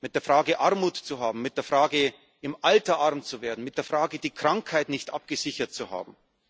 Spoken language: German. Mit der Frage, Armut zu haben, mit der Frage, im Alter arm zu werden, mit der Frage, die Krankheit nicht abgesichert zu haben.